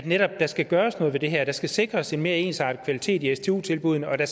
netop skal gøres noget ved det her at der skal sikres en mere ensartet kvalitet i stu tilbuddene og at der